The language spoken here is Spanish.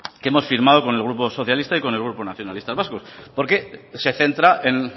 que hemos firmado con el grupo socialista y con el grupo nacionalistas vascos porque se centra en